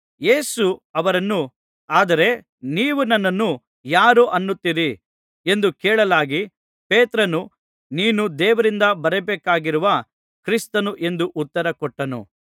ಯೇಸು ಅವರನ್ನು ಆದರೆ ನೀವು ನನ್ನನ್ನು ಯಾರು ಅನ್ನುತ್ತೀರಿ ಎಂದು ಕೇಳಲಾಗಿ ಪೇತ್ರನು ನೀನು ದೇವರಿಂದ ಬರಬೇಕಾಗಿರುವ ಕ್ರಿಸ್ತನು ಎಂದು ಉತ್ತರ ಕೊಟ್ಟನು